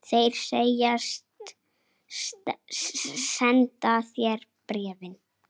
Þeir segjast senda þér bréfin.